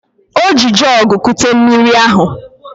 O ji jọọgụ kute mmiri ahụ